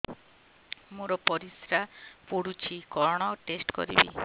ମୋର ପରିସ୍ରା ପୋଡୁଛି କଣ ଟେଷ୍ଟ କରିବି